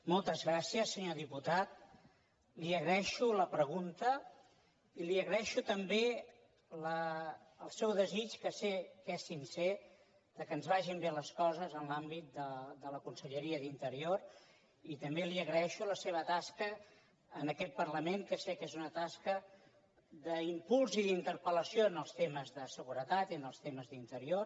moltes gràcies senyor diputat li agraeixo la pregunta i li agraeixo també el seu desig que sé que és sincer que ens vagin bé les coses en l’àmbit de la conselleria d’interior i també li agraeixo la seva tasca en aquest parlament que sé que és una tasca d’impuls i d’interpel·mes de seguretat i en els temes d’interior